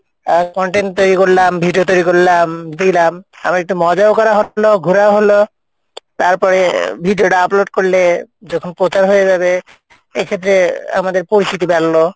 আহ content তৈরি করলাম video তৈরি করলাম দিলাম আবার একটু মজাও করা হলো, ঘুরাও হলো, তারপরে video টা upload করলে যখন প্রচার হয়ে যাবে এক্ষেত্রে আমাদের পরিচিতি বাড়লো।